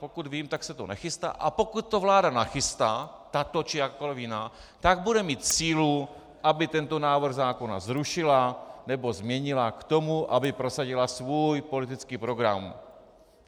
Pokud vím, tak se to nechystá, a pokud to vláda nachystá, tato či jakákoliv jiná, tak bude mít sílu, aby tento návrh zákona zrušila nebo změnila k tomu, aby prosadila svůj politický program.